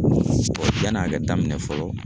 yann'a ka daminɛ fɔlɔ